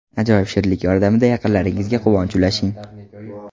Ajoyib shirinlik yordamida yaqinlaringizga quvonch ulashing!